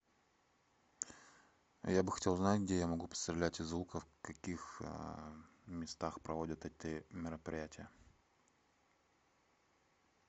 я бы хотел узнать где я могу пострелять из лука в каких местах проводят эти мероприятия